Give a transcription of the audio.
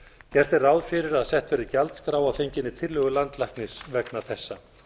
gert er ráð fyrir að sett verði gjaldskrá að fenginni tillögu landlæknis vegna þessa